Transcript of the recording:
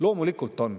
Loomulikult on.